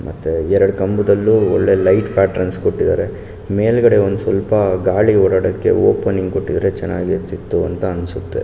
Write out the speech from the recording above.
ಮತ್ತೆ ಎರಡು ಕಂಬದಲ್ಲೂ ಒಳ್ಳೆ ಲೈಟ್ ಪ್ಯಾಟರ್ನ್ಸ್ ಕೊಟ್ಟಿದಾರೆ ಮೇಲ್ಗಡೆ ಒಂದ್ ಸ್ವಲ್ಪ ಗಾಳಿ ಓಡಾಡೋಕೆ ಓಪನಿಂಗ್ ಕೊಟ್ಟಿದ್ರೆ ತುಂಬ ಚೆನ್ನಾಗಿರ್ತಿತ್ತು ಅಂತ ಅನ್ಸುತ್ತೆ.